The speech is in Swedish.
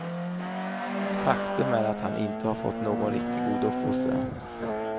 Faktum är att han inte har fått någon riktigt god uppfostran.